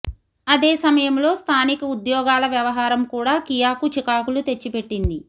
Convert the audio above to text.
అదే సమయంలో స్ధానిక ఉద్యోగాల వ్యవహారం కూడా కియాకు చికాకులు తెచ్చిపెట్టింది